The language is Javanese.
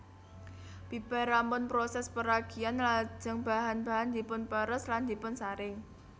Bibar rampun prosès peragian lajeng bahan bahan dipunperes lan dipunsaring